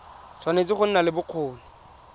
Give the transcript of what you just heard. tshwanetse go nna le bokgoni